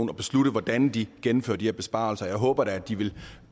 beslutte hvordan de gennemfører de her besparelser jeg håber da at de vil